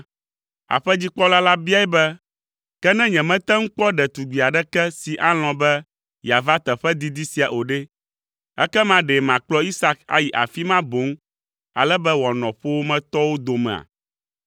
Aƒedzikpɔla la biae be, “Ke ne nyemate ŋu kpɔ ɖetugbi aɖeke si alɔ̃ be yeava teƒe didi sia o ɖe, ekema ɖe makplɔ Isak ayi afi ma boŋ, ale be wòanɔ ƒowòmetɔwo domea?”